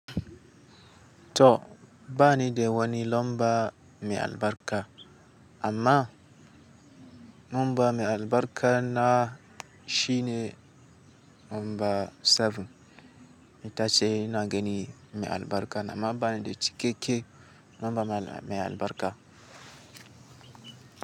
To bani de wani lamba me albarka amma lamba me albarka na shine lamba 7. Itace ina gani me albarka na ma bani da cikakke lamba me albarka.